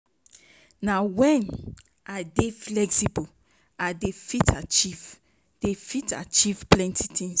Na wen I dey flexible i dey fit achieve dey fit achieve plenty tins.